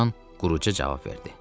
Loran quruca cavab verdi.